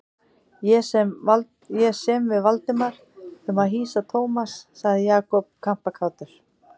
Ég sem við Valdimar um að hýsa Thomas sagði Jakob kampakátur.